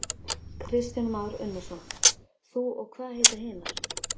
Kristján Már Unnarsson: Þú og hvað heita hinar?